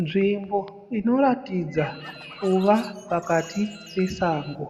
Nzvimbo inoratidza kuva pakati pesango.